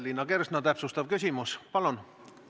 Liina Kersna, täpsustav küsimus, palun!